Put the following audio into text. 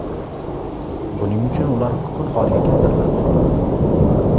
Buning uchun ular kukun holiga keltiriladi.